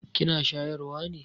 Kina shayarwa ne?